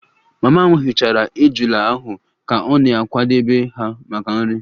Mama m hichara ejula ahu ka ọ na-akwadebe ha maka nri